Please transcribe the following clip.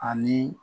Ani